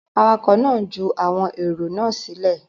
Awakọ̀ náà ń ju àwọn èrò náà sílẹ̀.